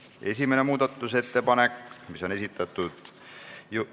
Esimene muudatusettepanek, mille on esitanud rahanduskomisjon, juhtivkomisjon: arvestada täielikult.